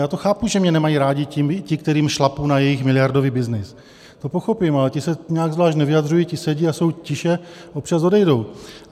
Já to chápu, že mě nemají rádi ti, kterým šlapu na jejich miliardový byznys, to pochopím, ale ti se nijak zvlášť nevyjadřují, ti sedí a jsou tiše, občas odejdou.